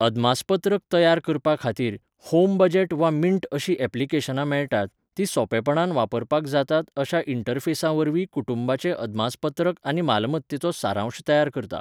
अदमासपत्रक तयार करपा खातीर, होमबजेट वा मिंट अशीं ऍप्लिकेशनां मेळटात, तीं सोंपेपणान वापरपाक जातात अश्या इंटरफेसावरवीं कुटुंबाचें अदमासपत्रक आनी मालमत्तेचो सारांश तयार करता.